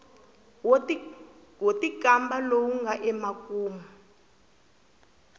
wo tikamba lowu nga emakumu